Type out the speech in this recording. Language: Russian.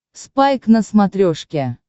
спайк на смотрешке